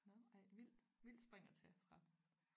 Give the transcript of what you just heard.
Nå ej vildt vildt spring at tage fra